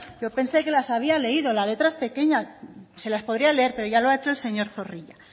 yo pensé que las había leído la letra es pequeña se las podría leer pero ya lo ha hecho el señor zorrilla